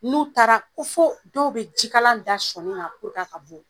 N'u taara ko foo dɔw be jikalan da sɔɔni na a ka bɔ.